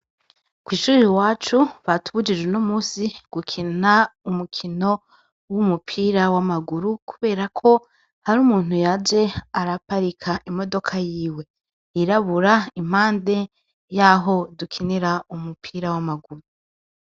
Kw'ishure iwacu batubujije uyumusi gukina urukino rw'umupira w'amaguru, kuberako har'umuntu yaje araparika imodoka yiwe yirabura impande yaho dukinira umupira w'amaguru.